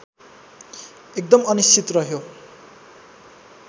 एकदम अनिश्चित रहयो